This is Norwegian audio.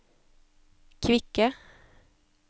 kvikke